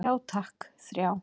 Já takk, þrjá.